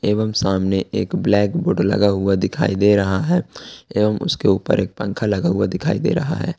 एवम सामने एक ब्लैक बोर्ड लगा हुआ दिखाई दे रहा है एवम उसके ऊपर एक पंखा लगा हुआ दिखाई दे रहा है।